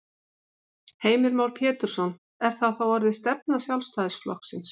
Heimir Már Pétursson: Er það þá orðin stefna Sjálfstæðisflokksins?